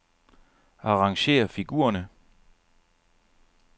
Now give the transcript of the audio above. Arrangér figurerne.